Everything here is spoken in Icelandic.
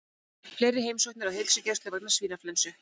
Fleiri heimsóknir á heilsugæslu vegna svínaflensu